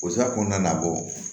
O sira kɔnɔna na bɔ